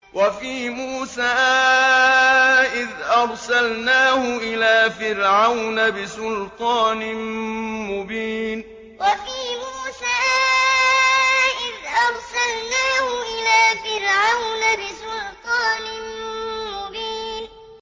وَفِي مُوسَىٰ إِذْ أَرْسَلْنَاهُ إِلَىٰ فِرْعَوْنَ بِسُلْطَانٍ مُّبِينٍ وَفِي مُوسَىٰ إِذْ أَرْسَلْنَاهُ إِلَىٰ فِرْعَوْنَ بِسُلْطَانٍ مُّبِينٍ